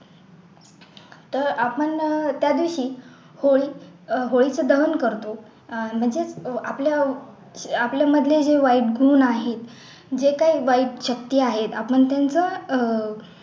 तो आपण त्या दिवशी होळी होळीचं दहन करतो अह म्हणजेच आपल्या आपल्या मधले जे वाईट गुण आहे जे काही वाईट चक्की आहे आपण त्यांचं अह